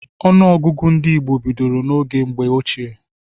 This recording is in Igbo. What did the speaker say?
Ọnụọgụgụ ndị Igbo bidoro n'oge mgbe ochie.